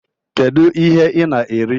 Kedu ihe ị na-eri?